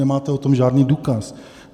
Nemáte o tom žádný důkaz.